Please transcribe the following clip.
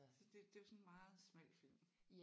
Så det det er jo sådan en meget smal film